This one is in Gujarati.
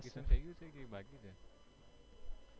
થઈ ગયું છે કે એ બાકી છે?